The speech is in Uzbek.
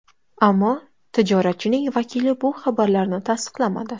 Ammo tijoratchining vakili bu xabarlarni tasdiqlamadi.